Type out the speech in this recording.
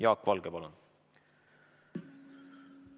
Jaak Valge, palun!